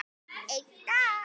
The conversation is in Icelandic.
Einn dag!